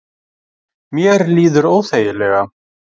Mér líður óþægilega